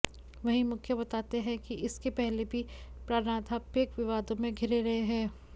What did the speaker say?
वहीं मुखिया बताते हैं कि इसके पहले भी प्रानाध्यापक विवादों में घिरे रहे हैं